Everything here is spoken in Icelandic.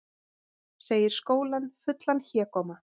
Segir skólann fullan hégóma